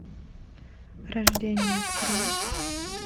рождение открой